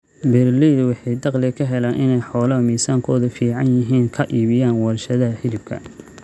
Beeralaydu waxay dakhli ku helaan inay xoolaha miisaankoodu fiican yihiin ka iibiyaan warshadaha hilibka.